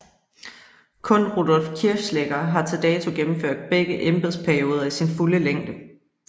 Kun Rudolf Kirchschläger har til dato gennemført begge embedsperioder i sin fulde længde